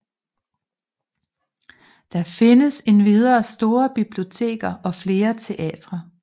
Der findes endvidere store biblioteker og flere teatre